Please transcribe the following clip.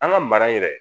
An ka mara in yɛrɛ